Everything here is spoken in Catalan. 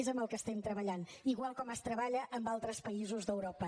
és en el que treballem igual com es treballa en altres països d’europa